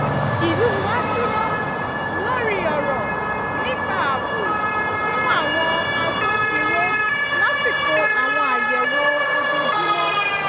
ìlú wa dúró lórí ọ̀rọ̀ nípa ààbò fún àwọn agbófinró lásìkò àwọn àyẹ̀wò ojoojúmọ́